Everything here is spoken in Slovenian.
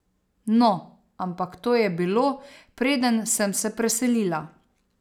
No, ampak to je bilo, preden sem se preselila.